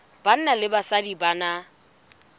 banna le basadi ba na